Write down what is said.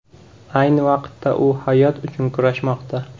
Ayni vaqtda u hayot uchun kurashmoqda.